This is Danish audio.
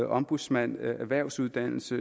ombudsmand erhvervsuddannelser